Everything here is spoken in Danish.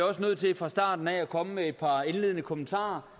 også nødt til fra starten af at komme med et par indledende kommentarer